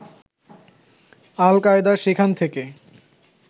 আল Qaeda সেখান থেকে